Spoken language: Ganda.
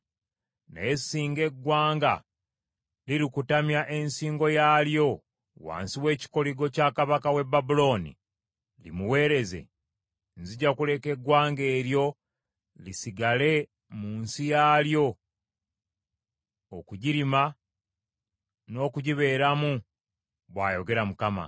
Naye singa eggwanga lirikutamya ensingo yaalyo wansi w’ekikoligo kya kabaka w’e Babulooni limuweereze, nzija kuleka eggwanga eryo lisigale mu nsi yaalyo, okugirima, n’okugibeeramu, bw’ayogera Mukama .”’”